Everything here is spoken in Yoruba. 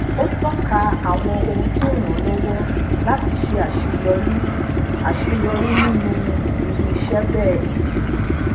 ó toka àwọn ohun tó ràn án lówó láti ṣe aseyori aseyori ninu irú iṣé béè